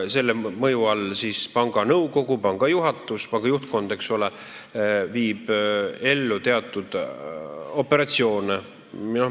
Selle mõju all viib panga juhtkond, panga nõukogu ja juhatus, ellu teatud operatsioone.